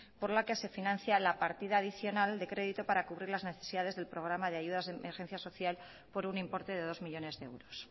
por la que se financia la partida adicional de crédito para cubrir las necesidades del programa de ayudas de emergencia social por un importe de dos millónes de euros